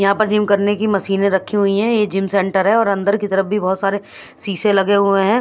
यहाँ पर जिम करने की मशीनें रखी हुई है ये जिम सेंटर है और अंदर की तरफ भी बहुत सारे शीशे लगे हुए हैं।